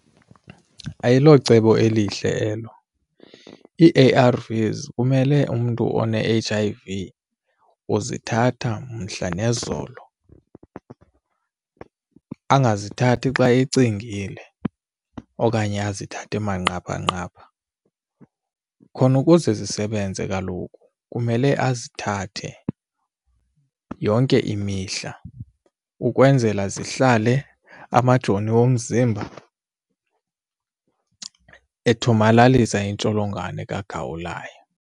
Ayilocebo elihle elo. Ii-A_R_Vs kumele umntu one-H_I_V uzithatha mhla nezolo, angazithathi xa ecingile okanye azithathe manqaphanqapha khona ukuze zisebenze kaloku kumele azithathe yonke imihla ukwenzela zihlale amajoni omzimba ethomalalisa intsholongwane kagawulayo.